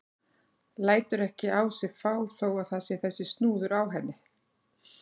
Lætur ekki á sig fá þó að það sé þessi snúður á henni.